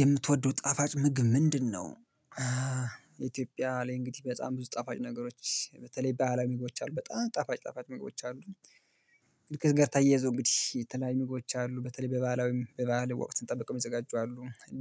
የምትወደው ጣፋጭ ምግብ ምንድነው ኢትዮጵያ ላይ እንግዲህ በጣም ብዙ ጠፋጭ ነገሮች በተለይ በአለም መግባት አሉ በጣም ጠፋጭ ጠፋጭ መግባት አሉ ከዚህ ጋር ተያይዞ እንግዲህ የተለያዩ ምግቦች አሉ። በተለይ በባህላዊ በባአል ወቅት ጠብቀው የሚዘጋጁ አሉ